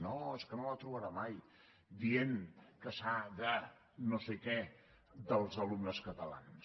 no és que no la trobarà mai dient que s’ha de no sé què dels alumnes catalans